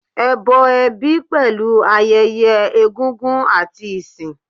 Ẹbọ ẹbí pẹ̀lú ayẹyẹ egúngún àti ìsìn.